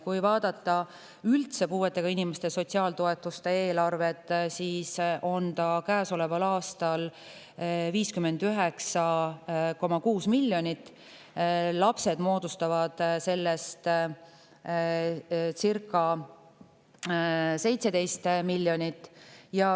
Kui vaadata üldse puuetega inimeste sotsiaaltoetuste eelarvet, siis on see käesoleval aastal 59,6 miljonit ning lastele moodustavad sellest circa 17 miljonit.